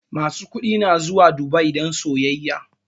Masu kuɗi na zuwa Dubai don sayyaya